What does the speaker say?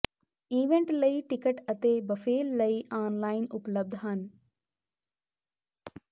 event ਲਈ ticket ਅਤੇ ਬਫੇਲ ਲਈ ਆਨਲਾਈਨ ਉਪਲਬਧ ਹਨ